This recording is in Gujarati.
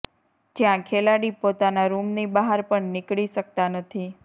જ્યાં ખેલાડી પોતાના રૂમની બહાર પણ નીકળી શકતા નથી